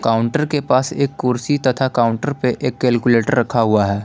Counter के पास एक कुर्सी तथा काउंटर पे एक कैलकुलेटर रखा हुआ है।